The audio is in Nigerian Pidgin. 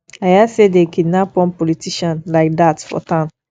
i hear say dey kidnap one politician like dat for town